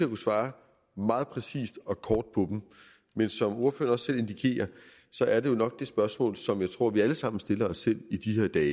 kunne svare meget præcist og kort på dem men som ordføreren også selv indikerer er det jo nok det spørgsmål som jeg tror vi alle sammen stiller os selv i de her dage